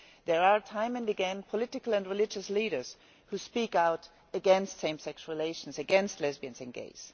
There are, time and again, political and religious leaders who speak out against same sex relations, against lesbians and gays.